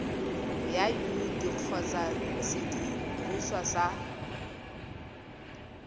ya yuniti kgotsa sediriswa sa